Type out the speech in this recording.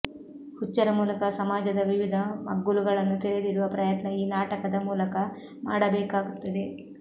ಹುಚ್ಚರ ಮೂಲಕ ಸಮಾಜದ ವಿವಿಧ ಮಗ್ಗುಲುಗಳನ್ನು ತೆರೆದಿಡುವ ಪ್ರಯತ್ನ ಈ ನಾಟಕದ ಮೂಲಕ ಮಾಡಕಾಗುತ್ತದೆ